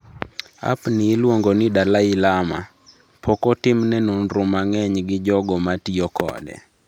App ni iluongo ni, Dalai Lama, pok otimne nonro mang’eny gi jogo ma tiyo kode.